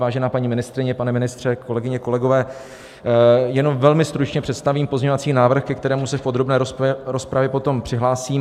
Vážená paní ministryně, pane ministře, kolegyně, kolegové, jenom velmi stručně představím pozměňovací návrh, ke kterému se v podrobné rozpravě potom přihlásím.